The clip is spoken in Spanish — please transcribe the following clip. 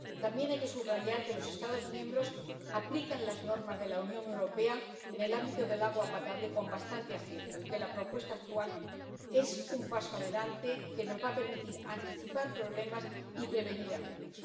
También hay que subrayar que los Estados miembros aplican las normas de la Unión Europea en el ámbito del agua potable con bastante acierto y que la propuesta actual es un paso adelante que nos va a permitir anticipar problemas y prevenir algunos.